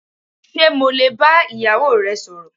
Ṣé mo lè bá ìyàwó rẹ sọ̀rọ̀.